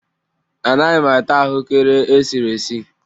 Anaghị m ata ahụekere esiri esi